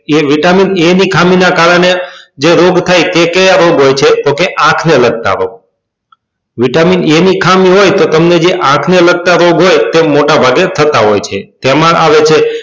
A vitamin a ની ખામી ના કારણે જે રોગ થાય તે રોગ કયા હોય છે તો કે આંખ ને લગતા હોય vitamin a ની ખામી હોય તો તમને જે આંખ ને લગતા રોગ હોય તે મોટા ભાગે થતા હોય છે તેમાં આવે છે